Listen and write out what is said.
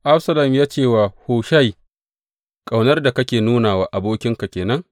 Absalom ya ce wa Hushai, Ƙaunar da kake nuna wa abokinka ke nan?